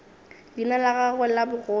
leina la gagwe la bogoši